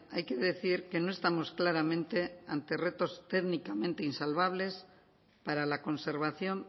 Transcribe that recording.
hay que decir que no estamos claramente ante retos técnicamente insalvables para la conservación